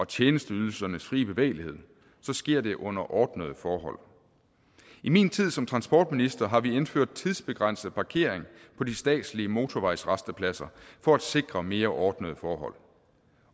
tjenesteydelsernes frie bevægelighed så sker det under ordnede forhold i min tid som transportminister har vi indført tidsbegrænset parkering på de statslige motorvejsrastepladser for at sikre mere ordnede forhold